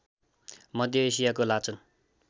मध्य एसियाको लाचन